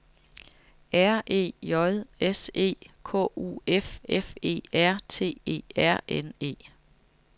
R E J S E K U F F E R T E R N E